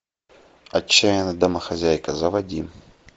отчаянная домохозяйка заводи